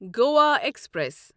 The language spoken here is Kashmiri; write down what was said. گوا ایکسپریس